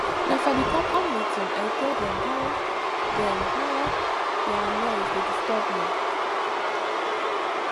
na for di compound meeting i tell dem how dem how their noise dey disturb me